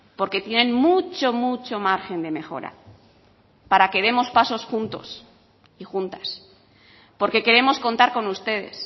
porque tienen mucho mucho margen de mejora para que demos pasos juntos y juntas porque queremos contar con ustedes